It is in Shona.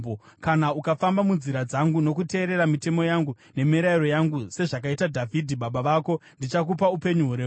Kana ukafamba munzira dzangu nokuteerera mitemo yangu nemirayiro yangu sezvakaita Dhavhidhi baba vako, ndichakupa upenyu hurefu.”